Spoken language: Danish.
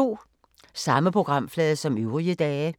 Samme programflade som øvrige dage